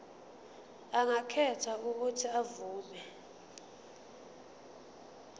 angakhetha uuthi avume